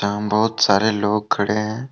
बहुत सारे लोग खड़े हैं।